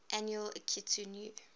annual akitu new